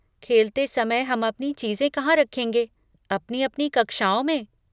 खेलते समय हम अपनी चीज़ें कहाँ रखेंगे, अपनी अपनी कक्षाओं में?